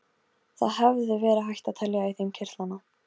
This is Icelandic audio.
Það hefði verið hægt að telja í þeim kirtlana.